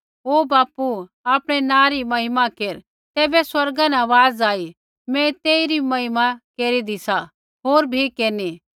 ओ बापू आपणै नाँ री महिमा केर तैबै स्वर्गा न आवाज़ आई मैं तेइरी महिमा केरीदी सा होर भी केरनी